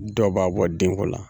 Dɔw b'a bɔ denko la